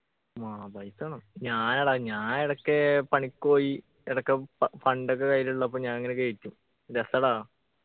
വേണം പൈസ വേണം ഞാനെടാ ഞാൻ ഇടക്ക് പണിക്ക് പോയി ഇടക്ക് fu fund ഒക്കെ കയ്യിലുള്ളപ്പോ ഞാനിങ്ങനെ കേറ്റും രസാടാ